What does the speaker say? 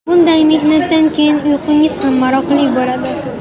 Bunday mehnatdan keyin uyqingiz ham maroqli bo‘ladi.